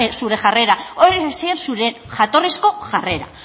zure jarrera hori zen zure jatorrizko jarrera